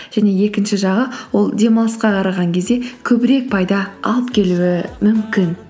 және екінші жағы ол демалысқа қараған кезде көбірек пайда алып келуі мүмкін